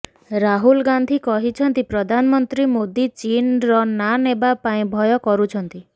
ରାହୁଲ ଗାନ୍ଧୀ କହିଛନ୍ତି ପ୍ରଧାନମନ୍ତ୍ରୀ ମୋଦୀ ଚୀନର ନାଁ ନେବା ପାଇଁ ଭୟ କରୁଛନ୍ତି